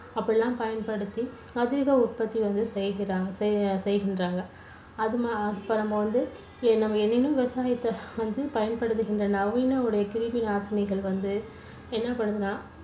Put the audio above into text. அப்படியெல்லாம் பயன்படுத்தி அதீத உற்பத்தி வந்து செய்கிறாங்க செய்கின்றாங்க. அது அப்புறம் வந்து நம்ம விவசாயத்துல பயன்படுத்தீட்டிருந்த நவீன ஒரு கிருமி நாசினிகள் வந்து என்ன பண்ணுதுன்னா